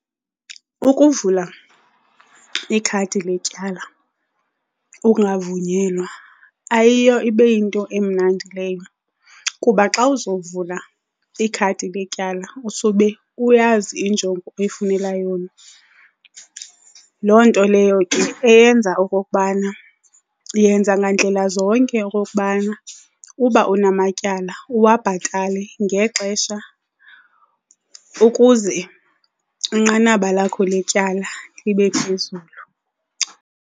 Ukuvula ikhadi letyala, ukungavunyelwa ayiyo ibe yinto emnandi leyo, kuba xa uzawuvula ikhadi letyala usube uyazi injongo oyifunela yona. Loo nto leyo ke eyenza okokubana yenza ngandlela zonke okokubana uba unamatyala uwabhatale ngexesha ukuze inqanaba lakho letyala libe phezulu.